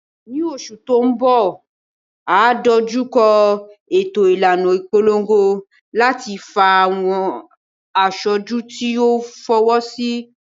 Ní oṣù tó ń bọ̀, a ó dojú kọ ètò ìlànà ìpolongo láti fa àwọn aṣojú tí yóò fọwọ́sí